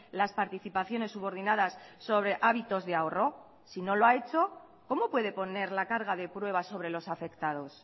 las participaciones subordinadas sobre hábitos de ahorro si no lo ha hecho cómo puede poner la carga de pruebas sobre los afectados